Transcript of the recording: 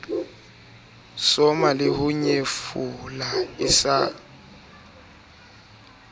soma leho nyefola se sa